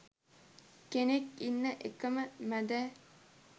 කෙනෙක් ඉන්න එකම මදෑ